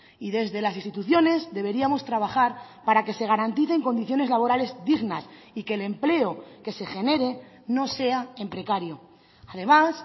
y desde las instituciones deberíamos trabajar para que se garanticen condiciones laborales dignas y que el empleo que se genere no sea en precario además